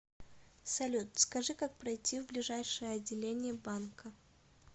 салют скажи как пройти в ближайшее отделение банка